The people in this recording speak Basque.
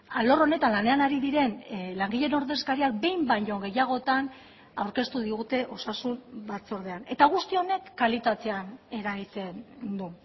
alor honetan lanean ari diren langileen ordezkariak behin baino gehiagotan aurkeztu digute osasun batzordean eta guzti honek kalitatean eragiten du